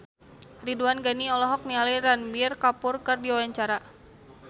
Ridwan Ghani olohok ningali Ranbir Kapoor keur diwawancara